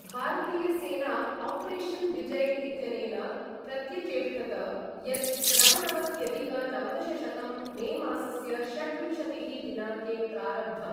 भारतीयसेना operation Vijay इत्यनेन प्रत्यचेष्टत, यत् नवनवत्यधिक नवदशशतं मे मासस्य षड्विंशतिः दिनाङ्के प्रारब्धम्।